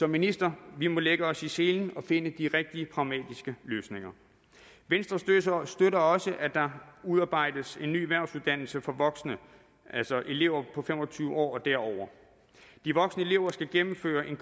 ministeren at vi må lægge os i selen og finde de rigtige pragmatiske løsninger venstre støtter støtter også at der udarbejdes en ny erhvervsuddannelse for voksne altså elever på fem og tyve år og derover de voksne elever skal gennemføre en